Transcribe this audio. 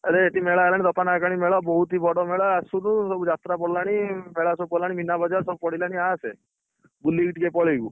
ଆରେ ଏଇଠି ମେଲ ହେଲାଣି ମେଳା ବହୁତ ହି ବଡ ମେଳା ଆସୁନୁ ସବୁ ଯାତ୍ରା ପଡିଲାଣି ମେଳା ସବୁ ପଡିଲାଣି ମିନାବଜାର ସବୁ ପଡିଲାଣି ଆସେ, ବୁଲିକି ଟିକେ ପଳେଇବୁ।